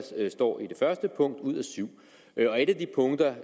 står i det første punkt ud af syv et af de punkter